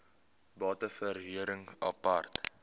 bate verhuring apart